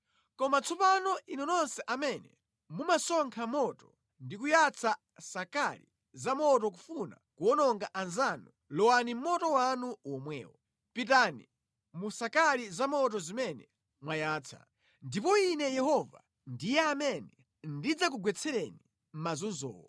Koma tsopano inu nonse amene mumasonkha moto ndi kuyatsa sakali za moto kufuna kuwononga anzanu, lowani mʼmoto wanu womwewo. Pitani mu sakali za moto zimene mwayatsa. Ndipo ine Yehova ndiye amene ndidzakugwetsereni mazunzowo.